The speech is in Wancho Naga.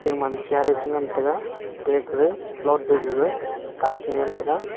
che ngan tega ate gara flot tiles e nyem tega.